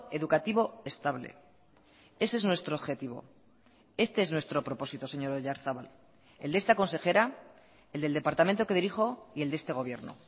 educativo estable ese es nuestro objetivo este es nuestro propósito señor oyarzabal el de esta consejera el del departamento que dirijo y el de este gobierno